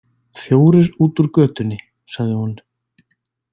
Fjórir út úr götunni, sagði hún.